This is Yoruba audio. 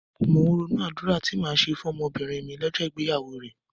Mò ń ronú àdúrà tí màá ṣe fún ọmọbìnrin mi lọ́jọ́ ìgbéyàwó rẹ̀.